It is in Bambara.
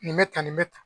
Nin bɛ tan nin bɛ tan